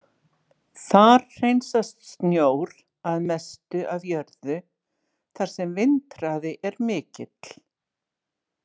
Þar hreinsast snjór að mestu af jörðu þar sem vindhraði er mikill.